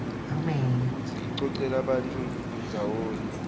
futsi icocela bantfu ndzawonye